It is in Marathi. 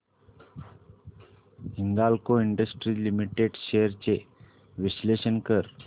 हिंदाल्को इंडस्ट्रीज लिमिटेड शेअर्स चे विश्लेषण कर